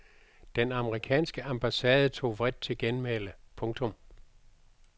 Den amerikanske ambassade tog vredt til genmæle. punktum